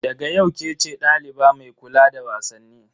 Daga yau kece daliba mai kula da wasanni.